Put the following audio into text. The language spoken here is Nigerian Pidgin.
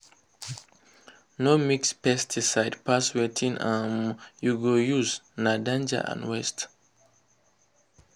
no mix pesticide pass wetin um you go use—na danger and waste. um